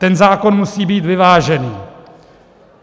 Ten zákon musí být vyvážený.